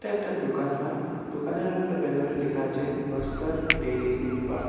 একটা দোকান হয় দোকানের উপরে ব্যানার এ লিখা আছে বস্তর ডেয়ারি ফার্ম ।